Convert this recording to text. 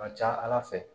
A ka ca ala fɛ